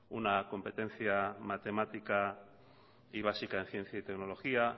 una competencia matemática y básica en ciencia y tecnología